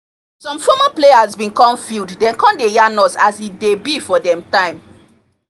some former players been come field dem come dey yarn us as e dey be for dem time